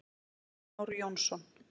Ómar Már Jónsson.